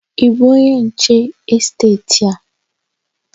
Ị bụ onye nche n'esteeti a?